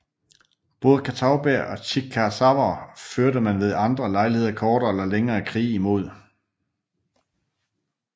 Både catawbaer og chickasawer førte man ved andre lejligheder kortere eller længere krige mod